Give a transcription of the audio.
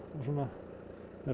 svona